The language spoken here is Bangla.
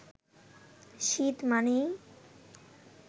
শীত মানেই